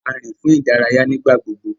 A rin fún ìdárayá nigbagbogbo.